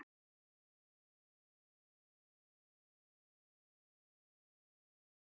Tómas Þór Þórðarson og Elvar Geir Magnússon eru sérfræðingar þáttarins.